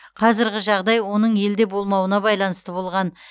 қазіргі жағдай оның елде болмауына байланысты болған